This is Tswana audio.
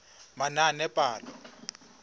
manaanepalo